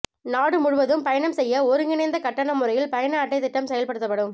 நாடு முழுவதும் பயணம் செய்ய ஒருங்கிணைந்த கட்டண முறையில் பயண அட்டை திட்டம் செயல்படுத்தப்படும்